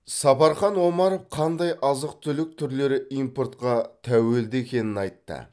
сапархан омаров қандай азық түлік түрлері импортқа тәуелді екенін айтты